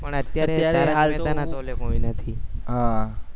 પણ અત્યારે કોઈ નથી હમ